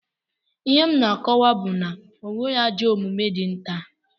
Ihe m na-akọwa bụ na enweghị ajọ omume dị nta